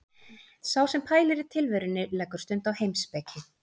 Sá sem pælir í tilverunni leggur stund á heimspeki.